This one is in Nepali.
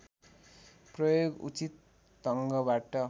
प्रयोग उचित ढङ्गबाट